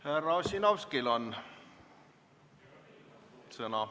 Härra Ossinovskil on sõna.